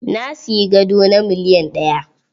Na siyi gado na miliyan ɗaya.